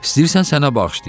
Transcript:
İstəyirsən sənə bağışlayım?